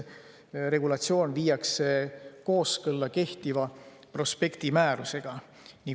Regulatsioon viiakse nüüd kooskõlla kehtiva prospektimäärusega.